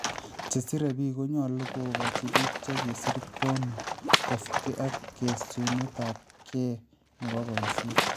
Chesire biik konyolu� kokochi biik chekisir koonuut kosubke ak kesunetaabkeit nebo boisyeet